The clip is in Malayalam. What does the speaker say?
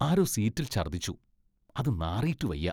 ആരോ സീറ്റിൽ ഛർദ്ദിച്ചു, അത് നാറീട്ടു വയ്യ .